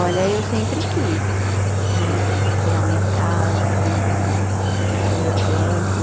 Olha, eu sempre quis né, ter a minha casa né, ter o o meu canto.